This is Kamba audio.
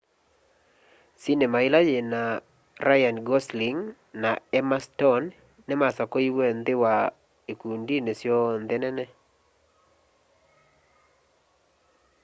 sinema ila nyina ryan gosling na emma stone nimasakuiwe nthi wa ikundinĩ syonthe nene